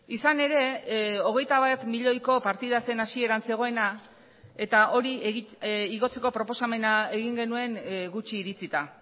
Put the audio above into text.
izan ere hogeita bat milioiko partida zen hasieran zegoena eta hori igotzeko proposamena egin genuen gutxi iritzita